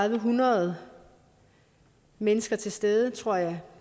hundrede mennesker til stede tror jeg